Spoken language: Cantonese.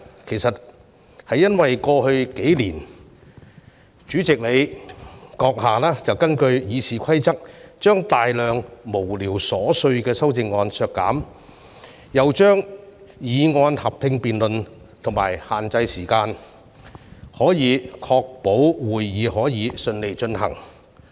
其實，是由於主席閣下在過去數年根據《議事規則》把大量無聊瑣碎的修正案削減，又把議案合併辯論及限制辯論時間，從而確保會議得以順利進行。